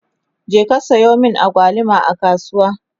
je ka Sayo min agwaluma a kasuwa!